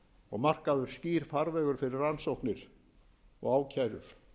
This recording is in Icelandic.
og markaður skýr farvegur fyrir rannsókn og ákærur